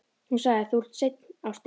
Hún sagði: Þú ert seinn, ástin.